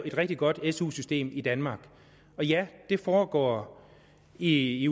et rigtig godt su system i danmark og ja det foregår i i